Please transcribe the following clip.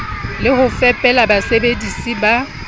le ho fepela basebedisi ba